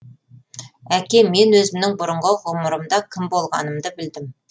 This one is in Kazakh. әке мен өзімнің бұрынғы ғұмырымда кім болғанымды білдім